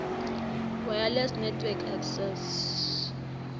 wireless network access